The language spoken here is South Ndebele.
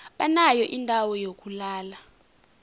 banayo indawo yokulala